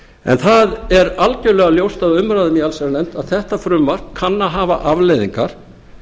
en það er algjörlega ljóst af umræðum í allsherjarnefnd að þetta frumvarp kann að hafa afleiðingar